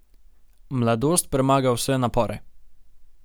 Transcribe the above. Mladost premaga vse napore.